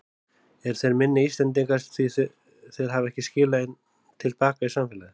Eru þeir minni Íslendingar því þeir hafa ekki skilað til baka í samfélagið?